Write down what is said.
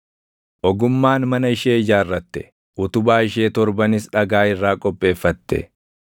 Ogummaan mana ishee ijaarratte; utubaa ishee torbanis dhagaa irraa qopheeffate.